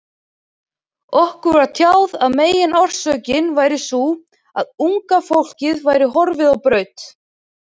Okkur var tjáð að meginorsökin væri sú, að unga fólkið væri horfið á braut.